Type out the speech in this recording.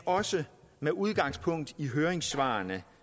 også med udgangspunkt i høringssvarene